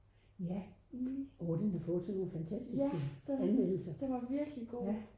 den har fået sådan nogle fantastiske anmeldelser